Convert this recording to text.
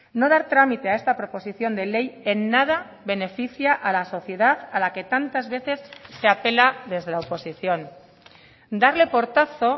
no dar trámite a esta proposición de ley en nada beneficia a la sociedad a la que tantas veces se apela desde la oposición darle portazo